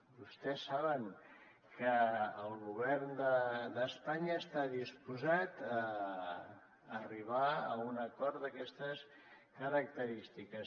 vostès saben que el govern d’espanya està disposat a arribar a un acord d’aquestes característiques